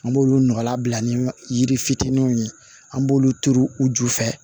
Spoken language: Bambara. An b'olu nɔgɔlan bila ni yiri fitinin ye an b'olu turu u ju fɛ